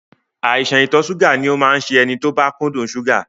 Àìsàn ìtọ̀ ṣúgà ni ó máa ń ṣe ẹni tó bá kúndùn ṣúgà